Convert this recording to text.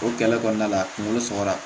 O gɛlɛya kɔnɔna la kungolo sɔrɔra